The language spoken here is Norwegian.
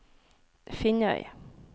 Finnøy